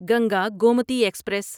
Ganga Gomti express